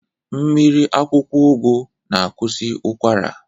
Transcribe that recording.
Mmiri akwụkwọ ụgụ na-akwụsị ụkwara.